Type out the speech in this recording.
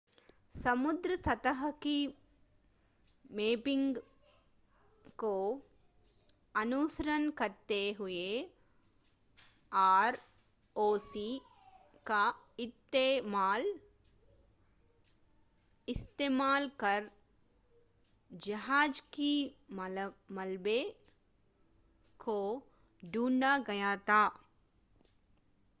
समुद्र सतह की मैपिंग को अनुसरण करते हुए आरओवी का इस्तेमाल कर जहाज़ के मलबे को ढूंढा गया था